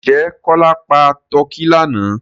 Ǹjẹ́ Kọ́lá pa tọ́kì lánàá?